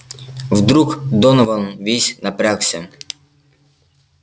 вдруг донован весь напрягся